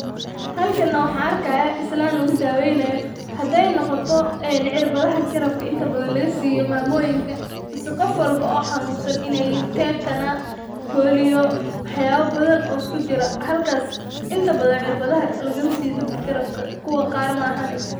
Xalkaana waxan arkaya, islan lagudaweynayo, xadhay nogoto en cirbadha qarabka inta badan lagasiyo mamoyinka, mise gofwalbo oo xanunsan, inay yixin tenanus polio waxyabo badhan oo iskujiroo, xalkas inti badan cirbadhaxa lagamasiyo cirbadhaxa qarabka, kuwa qar maaxane.